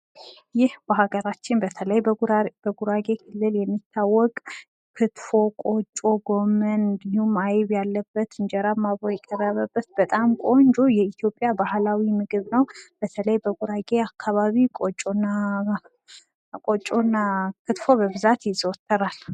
ምስሉ የሚያሳየው በሃገራችን በተለይ በጉራጌ ክልል የሚዘወተር ቆጮ፣ አይብ፣ ጎመን ፣ ክትፎ እንዲሁም እንጀራ አብሮ የቀረበበት የኢትዮጵያ ምግብ ነው።